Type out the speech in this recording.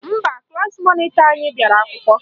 Mba, klaasị mọnịtọ anyị bịara akwụkwọ